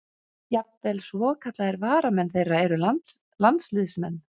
Jafnvel svokallaðir varamenn þeirra eru landsliðsmenn.